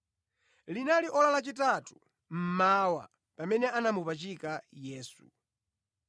Linali ora lachitatu mmawa pamene anamupachika Yesu.